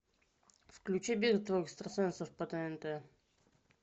включи битва экстрасенсов по тнт